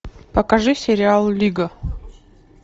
покажи сериал лига